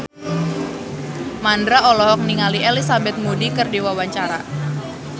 Mandra olohok ningali Elizabeth Moody keur diwawancara